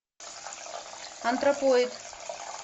антропоид